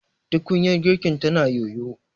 tukunyar girkin tana yoyo